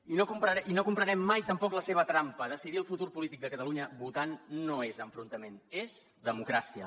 i no comprarem mai tampoc la seva trampa decidir el futur polític de catalunya votant no és enfrontament és democràcia